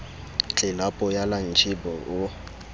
tlelapo ya lantjhe b o